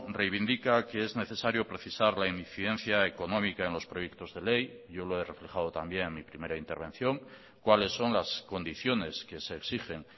reivindica que es necesario precisar la incidencia económica en los proyectos de ley yo lo he reflejado también en mi primera intervención cuáles son las condiciones que se exigen